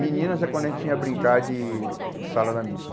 Meninas é quando a gente tinha brincar de de salada mista.